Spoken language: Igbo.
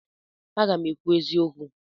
Aga m ekwu eziokwu.